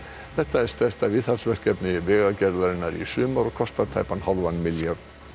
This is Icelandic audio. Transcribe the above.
þetta er stærsta viðhaldsverkefni Vegagerðarinnar í sumar og kostar tæpan hálfan milljarð